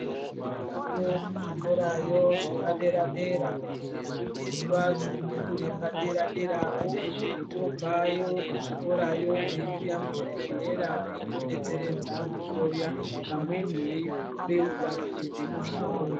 Variyo kuzvikorayo zvepaderadera kufundiswa zvemhando yepaderaderawo tobvayo kuzvikorayo weiuya muzvibhendlera veitobetseredza kuhloya vamweni veibeurwa muzvibhedhero zvavo.